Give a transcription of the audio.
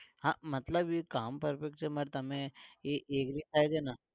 હા મતલબ ઈ કામ perfect છે પણ તમે એ agree થાય છે ને